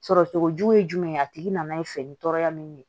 Sɔrɔcogo jugu ye jumɛn ye a tigi nana ye fini tɔɔrɔya min ye